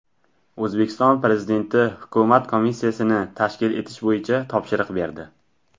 O‘zbekiston Prezidenti hukumat komissiyasini tashkil etish bo‘yicha topshiriq berdi.